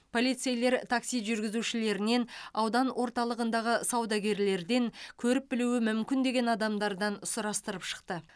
полицейлер такси жүргізушілерінен аудан орталығындағы саудагерлерден көріп білуі мүмкін деген адамдардан сұрастырып шықты